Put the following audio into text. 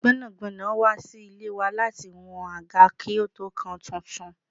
Gbẹ́nàgbẹ́nà wá sí ilé wa lati wá wọn àgá kí ó tó kan tuntun.